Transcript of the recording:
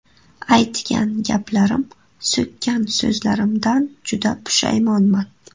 Aytgan gaplarim, so‘kkan so‘zlarimdan juda pushaymonman.